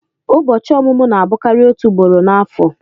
Ụbọchị ọmụmụ na-abụkarị òtù ugboro n'afọ.